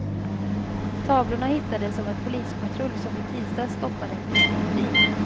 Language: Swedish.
Tavlorna hittades av en polispatrull som i tisdags stoppade en misstänkt bil.